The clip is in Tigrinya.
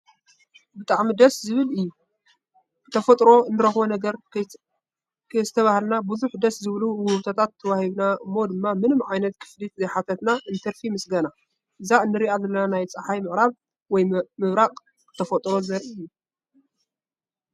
ብጣዕሚ እዩ ደስ ዝብል! ብተፈጥሮ እንረክቦ ነገር ከይስተባሃልናሉ ብዙሕ ደስ ዝብሉ ውህብቶታት ተወሂብና እሞ ድማ ምንም ዓይነት ክፍሊት ዘይሓተና እንትርፊ ምስገና ።እዛ እንረኣ ዘለና ናይ ፀሓይ ምዕራብ ወይ ምብራቃ ብተፈጥሮ ዘርኢ እዩ።